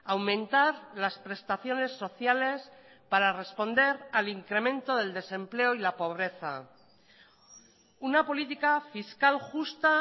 aumentar las prestaciones sociales para responder al incremento del desempleo y la pobreza una política fiscal justa